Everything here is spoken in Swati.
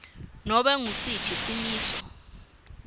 nobe ngusiphi simiso